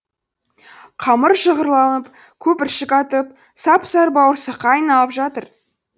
қамыр шығырылып көпіршік атып сап сары бауырсаққа айналып жатыр